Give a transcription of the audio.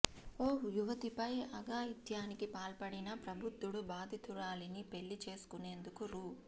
ఓ యువతిపై అఘాయిత్యానికి పాల్పడిన ప్రబుద్ధుడు బాధితురాలిని పెళ్లి చేసుకునేందుకు రూ